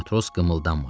Matros qımıldanmadı.